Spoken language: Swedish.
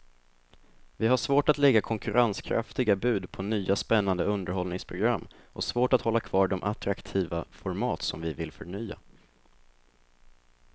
Vi har svårt att lägga konkurrenskraftiga bud på nya spännande underhållningsprogram och svårt att hålla kvar de attraktiva format som vi vill förnya.